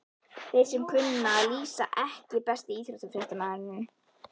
Þeir sem kunna að lýsa EKKI besti íþróttafréttamaðurinn?